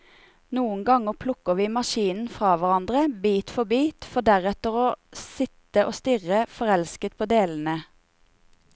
Noen ganger plukker vi maskinen fra hverandre, bit for bit, for deretter å sitte og stirre forelsket på delene.